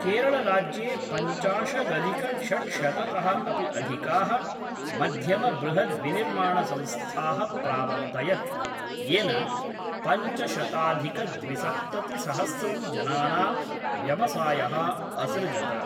केरळराज्ये पञ्चाशदधिकषड्शततः अपि अधिकाः मध्यमबृहद्विनिर्माणसंस्थाः प्रावर्तयत्, येन पञ्चशताधिकद्विसप्ततिसहस्रं जनानां व्यवसायः असृजत।